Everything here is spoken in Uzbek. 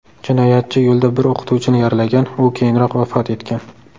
Jinoyatchi yo‘lda bir o‘qituvchini yaralagan, u keyinroq vafot etgan.